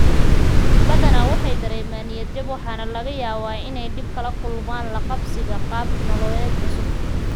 Badana waxay dareemaan niyad-jab waxaana laga yaabaa inay dhib kala kulmaan la qabsiga qaab nololeed cusub.